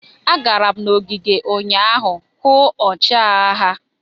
M gara n'ogige ụnyaahụ hụ ọchịagha ha.